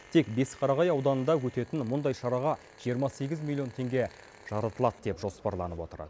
тек бесқарағай ауданында өтетін мұндай шараға жиырма сегіз миллион теңге жаратылады деп жоспарланып отыр